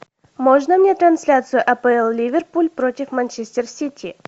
можно мне трансляцию апл ливерпуль против манчестер сити